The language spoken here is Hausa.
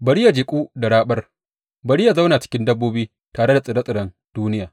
Bari yă jiƙu da raɓar, bari yă zauna cikin dabbobi tare da tsire tsiren duniya.